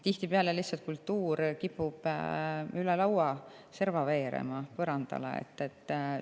Tihtipeale kipub kultuur lihtsalt üle lauaserva põrandale veerema.